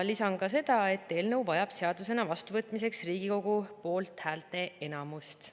Lisan ka seda, et eelnõu vajab seadusena vastuvõtmiseks Riigikogu poolthäälte enamust.